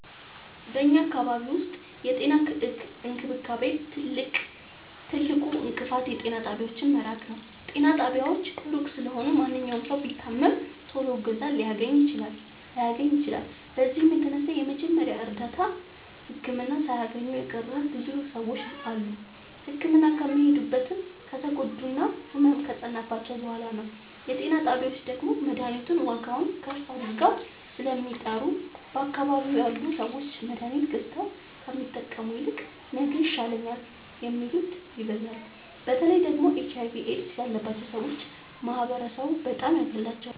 በኛ አካባቢ ዉስጥ የጤና እንክብካቤ ትልቁ እንቅፋት የጤና ጣቢያዎች መራቅ ነዉ። ጤና ጣቢያዎች እሩቅ ስለሆኑ ማንኛዉም ሠዉ ቢታመም ቶሎ እገዛ ላያገኝ ይችላል። በዚህም የተነሣ የመጀመሪያ እርዳታ ህክምና ሣያገኙ የቀሩ ብዙ ሰዎች አሉ። ህክምና የሚሄዱትም ከተጎዱና ህመሙ ከፀናባቸዉ በሗላ ነዉ። የጤና ጣቢያዎች ደግሞ መድሀኒቱን ዋጋዉን ከፍ አድርገዉ ስለሚጠሩ በአካባቢዉ ያሉ ሠዎች መድሀኒት ገዝተዉ ከሚጠቀሙ ይልቅ ነገ ይሻለኛል የሚሉት ይበዛሉ። በተለይ ደግሞ ኤች አይቪ ኤድስ ያባቸዉ ሠዎች ማህበረሡ በጣም ያገላቸዋል።